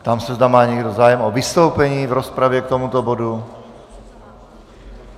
Ptám se, zda má někdo zájem o vystoupení v rozpravě k tomuto bodu.